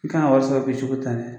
I kan ka wari sɔrɔ